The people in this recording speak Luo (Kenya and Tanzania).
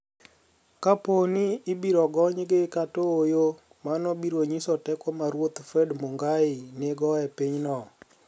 Kapo nii ibiro goniygi kata ooyo, mano biro niyiso teko ma ruoth Fred Munigaii niigo e piny no.